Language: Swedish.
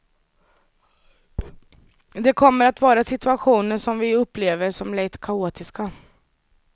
Det kommer att vara situationer som vi upplever som lätt kaotiska.